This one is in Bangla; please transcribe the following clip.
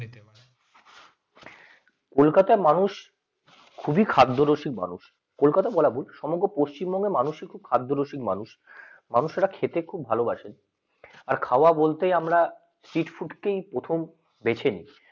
কলকাতা মানুষ কলকাতা খুবই খাদ্য রসিক মানুষ কলকাতা বলা ভুল পশ্চিমবঙ্গ মানুষকে খুব খাদ্য রসিক মানুষ মানুষেরা খেতে খুব ভালোবাসে আর খাওয়া বলতে আমরা সিট ফুড কে আমরা প্রথম দেখিনি